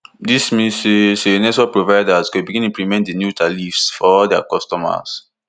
dis mean say say network providers go begin implement di new tariff for all dia customers